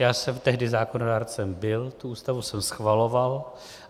Já jsem tehdy zákonodárcem byl, tu Ústavu jsem schvaloval.